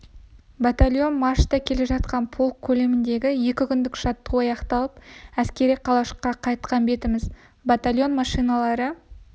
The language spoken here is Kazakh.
батальон маршта келе жатқан полк көлеміндегі екі күндік жаттығу аяқталып әскери қалашыққа қайтқан бетіміз батальон машиналары